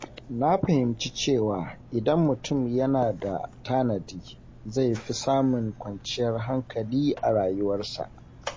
Na fahimci cewa idan mutum yana da tanadi, zai fi samun kwanciyar hankali a rayuwarsa.